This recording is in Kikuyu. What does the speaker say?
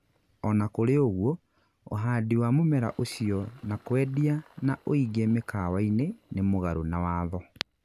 ona kũrĩ ũgũo, uhandi wa mũmera ũcio na kwendia na ũingĩ mĩkawa-inĩ nĩ mugarũ na watho.